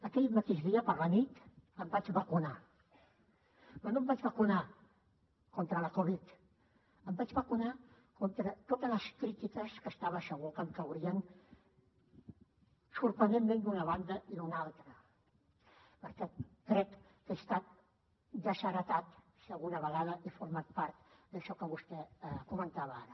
aquell mateix dia per la nit em vaig vacunar però no em vaig vacunar contra la covid em vaig vacunar contra totes les crítiques que estava segur que em caurien sorprenentment d’una banda i d’una altra perquè crec que he estat desheretat si alguna vegada he format part d’això que vostè comentava ara